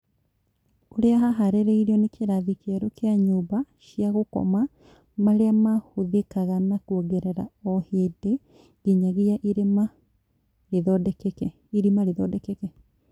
ũrĩa haharĩrĩirio na kĩrathi kĩerũ kĩa nyũmba cia gũkoma marĩa mahũthĩkaga na kwongerereka ohĩndĩ nginyagia irima rĩthondekeke